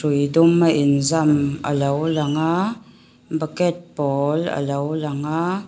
ui duma inzam alo langa bucket pawl a lo langa.